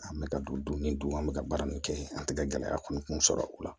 An bɛ ka don ni don an bɛ ka baara min kɛ an tɛ ka gɛlɛya kɔni kun sɔrɔ u la